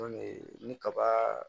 ni kaba